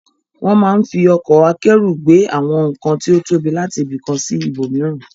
Wọ́n máa ń fi ọkọ̀ akẹ́rù gbé àwọn nǹkan tí ó tóbi láti ibi kan sí ibòmíràn.